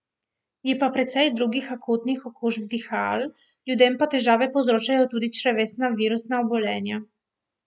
Je pa precej drugih akutnih okužb dihal, ljudem pa težave povzročajo tudi črevesna virusna obolenja.